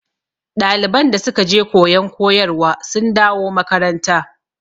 ɗaliban da suke je koyon koyarwa sun da wo makaranta